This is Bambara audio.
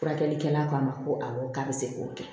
Furakɛlikɛla kɔnɔ ko awɔ k'a bɛ se k'o kɛ